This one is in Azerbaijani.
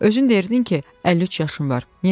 "Özün dedin ki, 53 yaşın var.